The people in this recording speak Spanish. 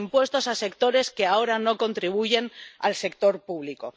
con impuestos a sectores que ahora no contribuyen al sector público